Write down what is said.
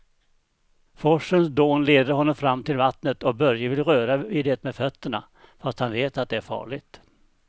Forsens dån leder honom fram till vattnet och Börje vill röra vid det med fötterna, fast han vet att det är farligt.